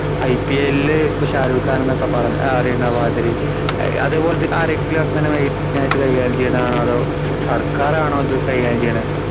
ഐപിഎൽല് ഇപ്പോ ഷാരൂഖ് ഖാൻ എന്നൊക്കെ പറഞ്ഞ അറിയണമാതിരി അതുപോലെ ആരെങ്കിലും അങ്ങനെ കൈകാര്യം ചെയ്യുന്നതാണോ അതോ സ~സർക്കാരാണോ ഇത് കൈകാര്യം ചെയ്യണേ?